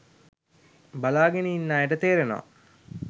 බලාගෙන ඉන්න අයට තේරෙනවා